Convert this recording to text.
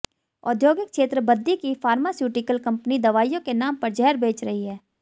औद्योगिक क्षेत्र बद्दी की फार्मास्यूटिकल कंपनीज दवाइयों के नाम पर जहर बेच रही हैं